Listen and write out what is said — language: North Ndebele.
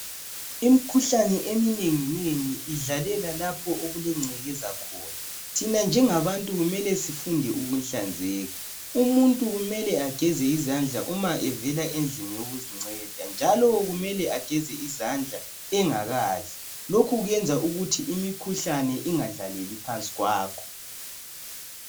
Imikhuhlane eminenginengi idlalela lapho okulengcekeza khona thina njengabantu kumele sifunde ukuhlanzeka umuntu kumele ageze izandla uma evela endlini yokuzinceda njalo kumele ageze izandla ungakadli lokhu kuyenza ukuthi imikhuhlane ingadlaleli phansi kwakho